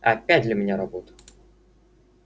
опять для меня работа